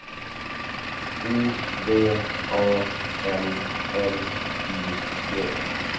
O V A N L I G